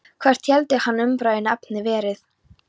Hvert héldi hann að umræðuefnið hefði verið?